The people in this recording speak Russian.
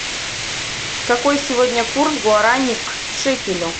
какой сегодня курс гуарани к шекелю